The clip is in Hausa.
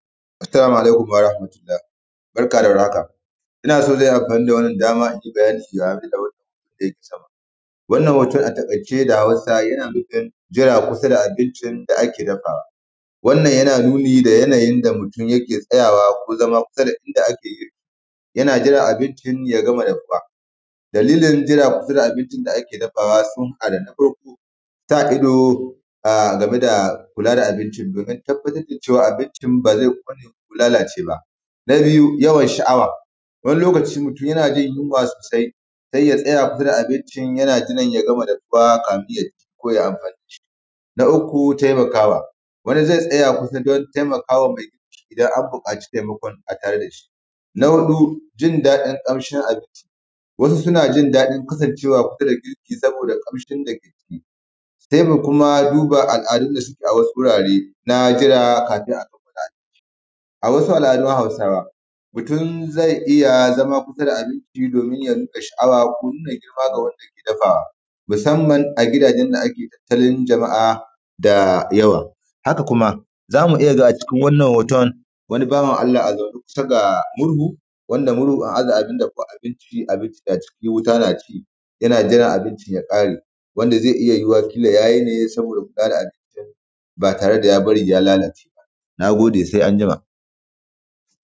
Assalamu alaikum warahamatullahi barka da war haka, ina so zan yi amfani da wannan dama in yi bayani wannan hoto da Hausa yana nufin jira kusa da abincin da ake dafawa wannan yana nuni da yadda mutum yake tsayawa kullum yana jiran abincin ya gama dafuwa, Dalilin jira a kusa da abinci da ake dafawa ta farko domin tabbatar da cewa abincin ba zai kone ko lalace ba. Na biyu yawan sha'awa, wani lokaci mutum in mutum yana jin yinwa sosai in ya tsaya abinci yana jiran ya gama dafuwa kafin yai amfani da shi. Na uku, taimakawa wani zai tsaya kusa don taimakawa in an buƙaci taimakon a tare da shi. Na huɗu jin dadin ƙamshin abinci, wasu suna jin dadin kasancewa kusa da abincin saboda ƙamshin da yake ciki, haka kuma na duba al'adu da suke a wasu wuraren na duba abinci. A wasu al'adun Hausawa, mutum zai iya zama kusa da abincin domin sha'awa ko nuna girma ga wanda yake dafawa musamman a gidajen da ake tattala jama'a da yawa. Haka kuma za mu iya gani cikin wannan hoton wani bawan Allah a zaune kusa da murhu wanda murhun an aza abun dafa abinci wuta na ci yana jira abincin ya kare wanda zai iya yuwuwa ya yi ne don kare abincin ba tare da bari ya lalace ba. Na gode sosai sai anjima